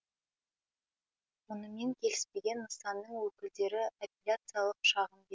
мұнымен келіспеген нысанның өкілдері апеллияциялық шағым берген